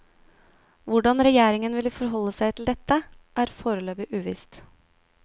Hvordan regjeringen vil forholde seg til dette, er foreløpig uvisst.